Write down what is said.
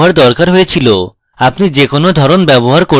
আপনি যে কোনো ধরণ ব্যবহার করতে পারেন